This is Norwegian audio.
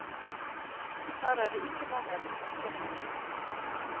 Her er det ikke mangel på motoffensiv.